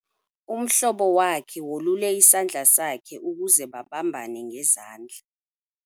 Umhlobo wakhe wolule isandla sakhe ukuze babambane ngezandla.